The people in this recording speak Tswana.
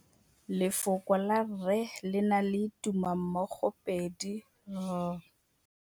Lefoko la rre, le na le tumammogôpedi ya, r.